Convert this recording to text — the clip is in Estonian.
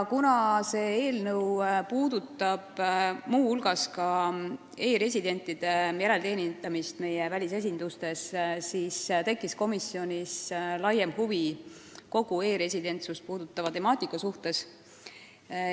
Kuna see eelnõu puudutab muu hulgas ka e-residentide järelteenindamist meie välisesindustes, tekkis komisjonis laiem huvi kogu e-residentsust puudutava temaatika vastu.